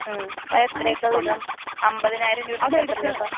ഉം അതെത്രയൊക്കെ വരും അമ്പതിനായിരം രൂപക്ക് എത്ര രൂപ.